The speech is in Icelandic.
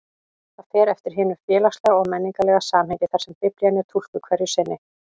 Það fer eftir hinu félagslega og menningarlega samhengi þar sem Biblían er túlkuð hverju sinni.